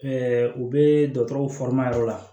u bɛ dɔkɔtɔrɔ yɔrɔ la